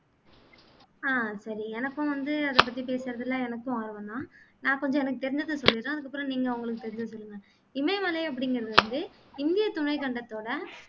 ஆஹ் சரி எனக்கும் வந்து அதை பத்தி பேசுறதுலே எனக்கும் ஆர்வம் தான் நான் கொஞ்சம் எனக்கு தெரிஞ்சத சொல்லீறேன் அதுக்கு அப்பறம் நீங்க உங்களுக்கு தெரிஞ்சத சொல்லுங்க இமயமலை அப்படிங்குறது வந்து இந்திய துணைக்கண்டத்தோட